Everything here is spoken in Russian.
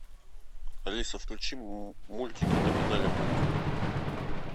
алиса включи мультики на канале мульт